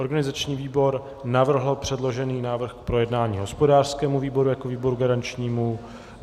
Organizační výbor navrhl předložený návrh k projednání hospodářskému výboru jako výboru garančnímu.